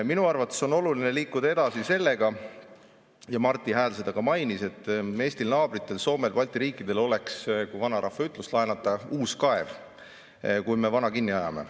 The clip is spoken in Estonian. Minu arvates on oluline liikuda edasi sellega – ja Marti Hääl seda ka mainis –, et Eestil ja meie naabritel Soomel ja Balti riikidel oleks, kui vanarahva ütlust laenata, uus kaev, kui me vana kinni ajame.